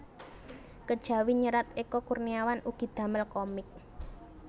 Kejawi nyerat Eka Kurniawan ugi damel komik